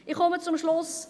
Ich komme zum Schluss.